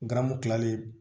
Ngaramu kilalen